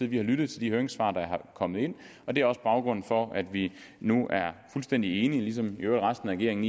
vi har lyttet til de høringssvar der er kommet ind og det er også baggrunden for at vi nu er fuldstændig enige ligesom i øvrigt resten af regeringen